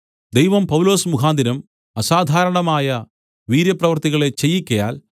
ദൈവം പൗലൊസ് മുഖാന്തരം അസാധാരണമായ വീര്യപ്രവൃത്തികളെ ചെയ്യിക്കയാൽ